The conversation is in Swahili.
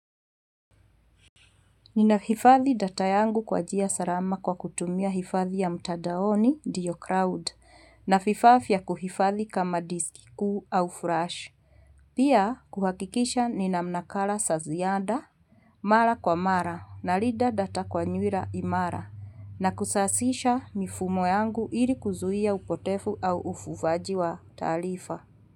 Ninahifadhi data yangu kwa njia salama, kwa kutumia hifadhi ya mtandaoni, ndio Cloud na vifaa vya kuhifadhi kama disk kuu au flash. Pia, kuhakikisha ninamnakala zaziada, mara kwa mara nalinda data kwa nywira imara na kusasisha mifumo yangu ili kuzuia upotevu au ufufaji wa taarifa.